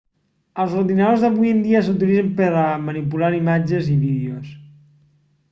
els ordinadors d'avui en dia s'utilitzen per a manipular imatges i vídeos